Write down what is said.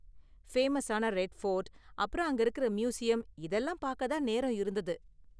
ஃபேமஸான ரெட்ஃபோர்ட் அப்பறம் அங்க இருக்குற மியூசியம் இதெல்லாம் பார்க்க தான் நேரம் இருந்தது.